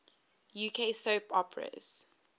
uk soap operas